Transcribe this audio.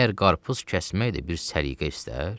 Məyər qarpız kəsmək də bir səliqə istər?